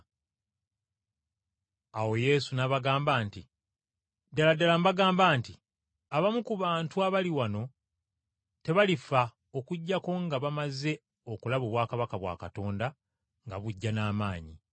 Awo Yesu n’abagamba nti, “Ddala ddala mbagamba nti, Abamu ku bantu abali wano tebalifa okuggyako nga bamaze okulaba obwakabaka bwa Katonda nga bujja n’amaanyi.”